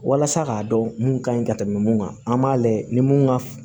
Walasa k'a dɔn mun ka ɲi ka tɛmɛ mun kan an b'a layɛ ni mun ka f